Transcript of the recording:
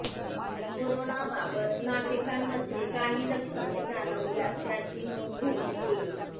corona बाबत नागरिकांमध्ये काही लक्षणे जाणवल्यास त्याची नोंद घेणेत येईल